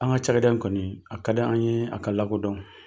An ka cakɛda in kɔni a ka di an ye a ka lakodɔn.